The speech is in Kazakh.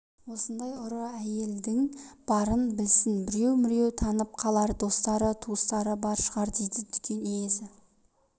осындай ұры әйелдің барын білсін біреу-міреу танып қалар достары туыстары бар шығар дейді дүкен иесі